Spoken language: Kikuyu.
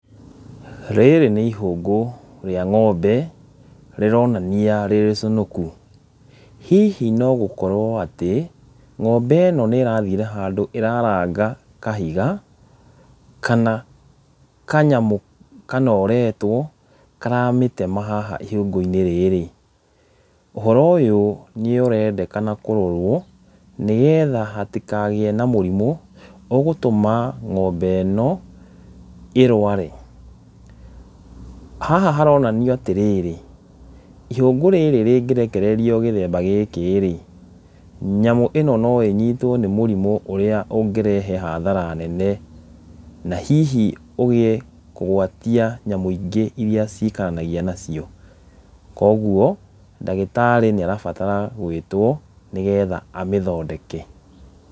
Rĩrĩ nĩ ihũngũ rĩa ng'ombe rĩronania rĩrĩcũnũku, hihi no gũkorwo atĩ ng'ombe ĩno nĩ ĩrathire handũ ĩraranga kahiga kana kanyamũ kanoretwo karamĩtema haha ihũngũ-inĩ rĩrĩ, ũhoro ũyũ nĩ ũrendekana kũrorwo nĩgetha hatikagĩe na mũrimũ ũgũtũma ng'ombe ĩno ĩrware , haha haronania atĩrĩrĩ ihũngũ rĩrĩ rĩngĩ rekererio gĩthemba gĩkĩ rĩ, nyamũ ĩno no ĩnyitwo nĩ mũrimũ ũrĩa ũngĩrehe hathara nene , na hihi ũgĩe kũgwatia nyamũ ingĩ iria cikaranagia nacio , kũgwo ndagĩtarĩ nĩ arabatara gwĩtwo nĩgetha amĩthondeke.